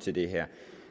til det her